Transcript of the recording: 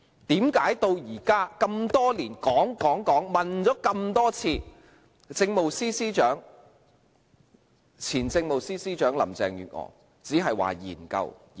為何至今事經多年，說過、問過很多遍，前政務司司長林鄭月娥只表示會研究。